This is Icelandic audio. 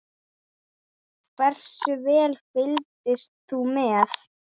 Hversu vel fylgdist þú með?